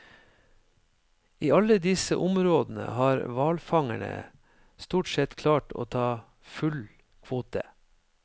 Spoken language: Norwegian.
I alle disse områdene har hvalfangerne stort sett klart å ta full kvote.